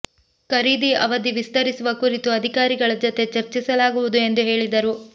ಖರೀದಿ ಅವಧಿ ವಿಸ್ತರಿಸುವ ಕುರಿತು ಅಧಿಕಾರಿಗಳ ಜತೆ ಚರ್ಚಿಸಲಾಗುವುದು ಎಂದು ಹೇಳಿದರು